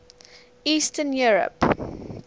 eastern europe